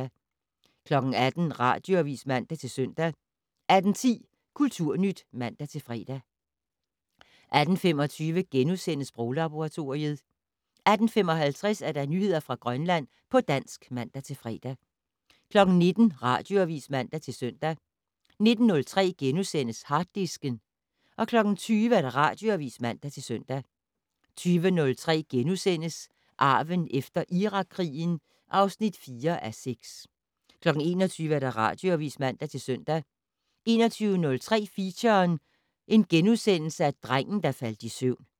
18:00: Radioavis (man-søn) 18:10: Kulturnyt (man-fre) 18:25: Sproglaboratoriet * 18:55: Nyheder fra Grønland på dansk (man-fre) 19:00: Radioavis (man-søn) 19:03: Harddisken * 20:00: Radioavis (man-søn) 20:03: Arven efter Irakkrigen (4:6)* 21:00: Radioavis (man-søn) 21:03: Feature: Drengen der faldt i søvn *